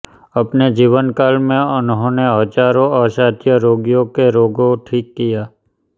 अपने जीवनकाल में उन्होने हजारों असाध्य रोगियों के रोगों ठीक किया